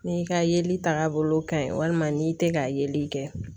N'i ka yeli tagabolo ka ɲi walima n'i tɛ ka yeli kɛ